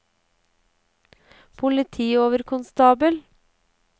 politioverkonstabel